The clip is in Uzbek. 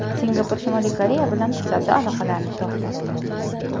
Singapur Shimoliy Koreya bilan savdo aloqalarini to‘xtatdi.